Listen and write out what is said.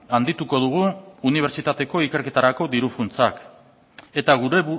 handituko dugu unibertsitateko ikerketarako diru funtsak eta gure